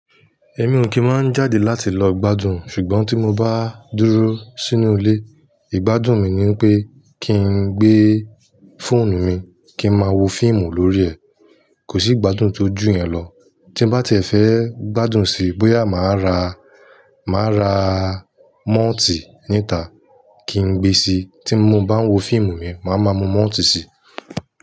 Èmi ò kín máa ń jáde láti lọ gbádùn ṣùgbọ́n tí mo bá dúró sínú ilé, ìgbádùn mi ni pé kí n gbé fóònù mi kí ń máa wo fíìmù lórí ẹ̀. Kò sí gbádùn tó ju yẹn lọ. Tí n bá tì ẹ̀ fe gbádùn síi bóyá màá ra, màá ra mọ́ọ́tì níta kí n gbé sí i. Tí mo bá ń wo fíìmù mi, màá máa mú mọ́ọ́tì sí i.